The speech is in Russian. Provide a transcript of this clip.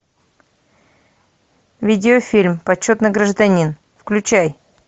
видеофильм почетный гражданин включай